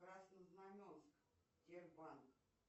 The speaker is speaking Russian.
краснознаменск сбербанк